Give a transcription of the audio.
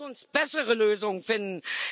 ab. Lasst uns bessere Lösungen finden!